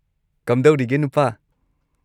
ꯀꯝꯗꯧꯔꯤꯒꯦ, ꯅꯨꯄꯥ?